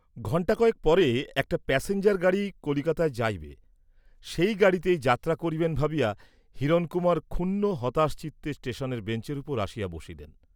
ঘণ্টা কয়েক পরে একটা প্যাসেঞ্জার গাড়ী কলিকাতায় যাইবে, সেই গাড়ীতেই যাত্রা করিবেন ভাবিয়া হিরণকুমার ক্ষুণ্ন হতাশচিত্তে ষ্টেষণের বেঞ্চের উপর আসিয়া বসিলেন।